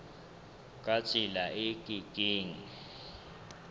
ka tsela e ke keng